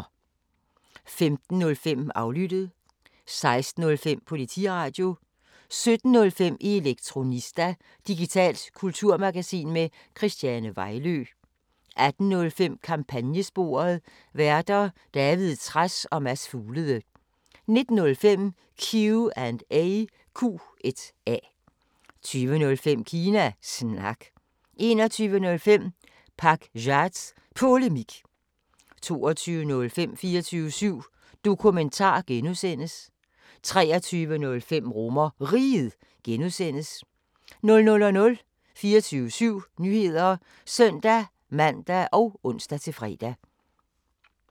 15:05: Aflyttet 16:05: Politiradio 17:05: Elektronista – digitalt kulturmagasin med Christiane Vejlø 18:05: Kampagnesporet: Værter: David Trads og Mads Fuglede 19:05: Q&A 20:05: Kina Snak 21:05: Pakzads Polemik 22:05: 24syv Dokumentar (G) 23:05: RomerRiget (G) 00:00: 24syv Nyheder (søn-man og ons-fre)